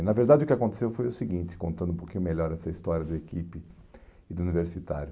e na verdade, o que aconteceu foi o seguinte, contando um pouquinho melhor essa história do equipe e do universitário.